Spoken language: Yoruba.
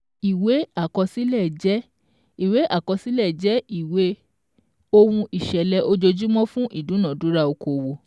Ìwé àkọsílẹ̀ jẹ́ Ìwé àkọsílẹ̀ jẹ́ ìwé ohun ìṣẹ̀lẹ̀ ojojúmọ́ fún ìdúnadúrà okòowò